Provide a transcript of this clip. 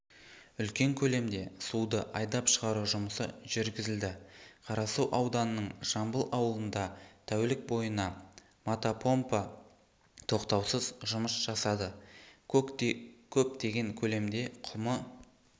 үлкен көлемде суды айдап шығару жұмысы жүргізілді қарасу ауданының жамбыл ауылында тәулік бойына мотопомпа тоқтаусыз жұмыс жасады көптеген көлемде құмы